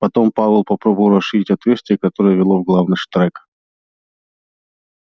потом пауэлл попробовал расширить отверстие которое вело в главный штрек